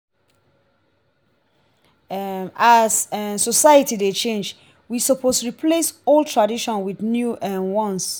um as um society dey change we suppose replace old tradition wit new um ones.